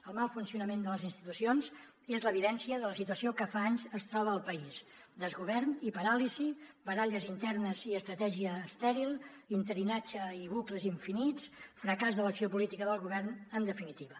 el mal funcionament de les institucions és l’evidència de la situació en què fa anys es troba el país desgovern i paràlisi baralles internes i estratègia estèril interinatge i bucles infinits fracàs de l’acció política del govern en definitiva